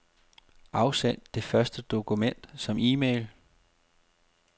Afsend det første dokument som e-mail.